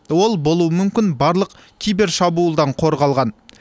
ол болуы мүмкін барлық кибершабуылдан қорғалған